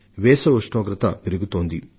వేసవి వేడిమి రోజు రోజుకు పెరుగుతోంది